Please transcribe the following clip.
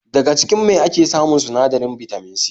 Daga cikin mai ake samun sinadarin Bitamin C